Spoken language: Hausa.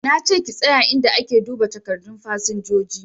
Na ce ki tsaye inda ake duba takardun fasinjoji!